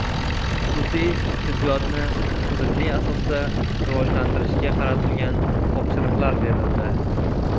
Xususiy tibbiyotni tizimli asosda rivojlantirishga qaratilgan topshiriqlar berildi.